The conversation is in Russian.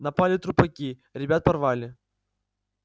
напали трупаки ребят порвали